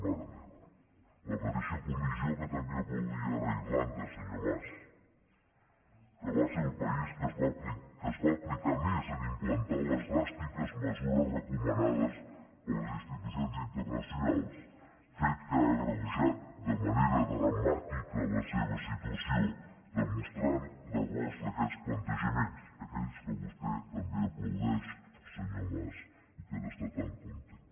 mare meva la mateixa comissió que també aplaudia ara irlanda senyor mas que va ser el país que es va aplicar més en implantar les dràstiques mesures recomanades per les institucions internacionals fet que ha agreujat de manera dramàtica la seva situació demostrant errors d’aquests plantejaments aquells que vostè també aplaudeix senyor mas i que n’està tan content